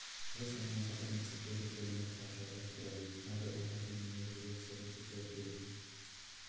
ол сонымен қатар мектепке ірі көлемде қаржы аударып тұрады әрі ұлдары немерелері сол мектепте оқиды екен